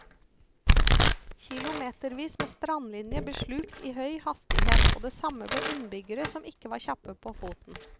Kilometervis med strandlinje ble slukt i høy hastighet, og det samme ble innbyggere som ikke var kjappe på foten.